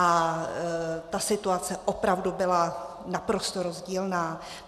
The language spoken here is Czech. A ta situace opravdu byla naprosto rozdílná.